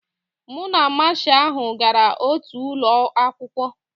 Mụ na Masha ahụ gara otu ụlọ akwụkwọ